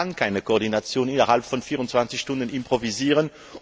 Man kann keine Koordination innerhalb von 24 Stunden improvisieren.